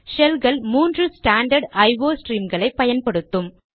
ஷெல்கள் மூன்று standard IO ஸ்ட்ரீம்களை பயன்படுத்தும்